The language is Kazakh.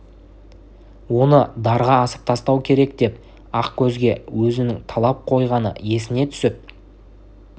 оны дарға асып тастау керек деп ақкөзге өзінің талап қойғаны есіне түсті